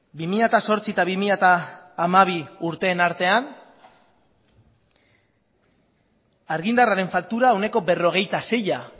bi mila zortzi eta bi mila hamabi urteen artean argindarraren faktura ehuneko berrogeita seia